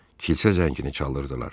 Kilsə zəngini çalırdılar.